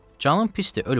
Canın pisdir, öl qurtar.